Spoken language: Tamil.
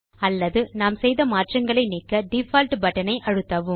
அல்லது நாம் செய்த மாற்றங்களை நீக்க டிஃபால்ட் பட்டன் அழுத்தவும்